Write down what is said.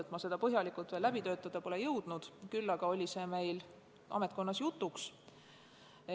Ma pole seda veel põhjalikult läbi töötada jõudnud, küll aga oli see meil ametkonnas jutuks.